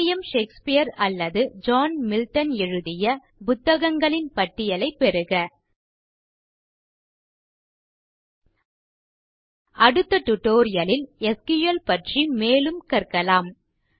William Shakespeare அல்லது John Milton எழுதிய புத்தகங்களின் பட்டியலைப் பெறுக அடுத்த டியூட்டோரியல் ல் எஸ்கியூஎல் பற்றி மேலும் கற்கலாம்